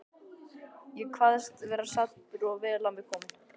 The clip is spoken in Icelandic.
Ég kvaðst vera saddur og vel á mig kominn.